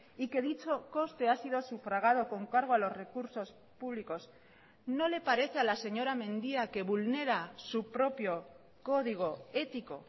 y que dicho coste ha sido sufragado con cargo a los recursos públicos no le parece a la señora mendia que vulnera su propio código ético